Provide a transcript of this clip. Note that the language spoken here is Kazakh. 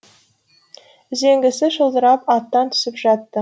үзеңгісі шылдырап аттан түсіп жатты